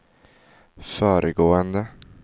föregående